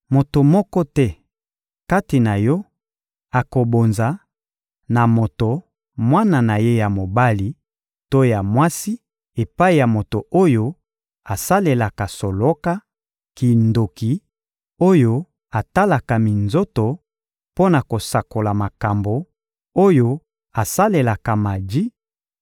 Moto moko te kati na yo akobonza na moto mwana na ye ya mobali to ya mwasi epai ya moto oyo asalelaka soloka, kindoki, oyo atalaka minzoto mpo na kosakola makambo, oyo asalelaka maji